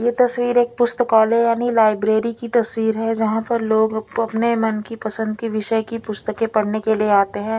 ये तस्वीर एक पुस्तकालय यानी लाइब्रेरी की तस्वीर है जहा पर लोग अपने मन की पसंद की विषय की पुस्तके पड़ने के लिए आते है।